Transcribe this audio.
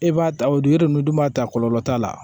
E b'a ta o dun e dun b'a ta kɔlɔlɔ t'a la